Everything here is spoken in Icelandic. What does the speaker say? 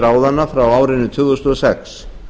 ráðanna frá árinu tvö þúsund og sex